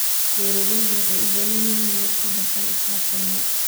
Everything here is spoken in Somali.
Beeraleydu waxay u baahan yihiin inay wax ka bartaan asxaabteena.